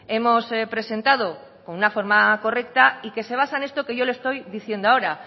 hemos presentado con una forma correcta y que se basa en esto que yo le estoy diciendo ahora